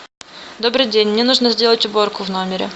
добрый день мне нужно сделать уборку в номере